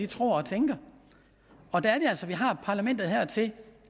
tror og tænker og der er det altså partierne har parlamentet her til